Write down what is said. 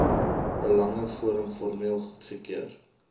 belangeforum formeel goedgekeur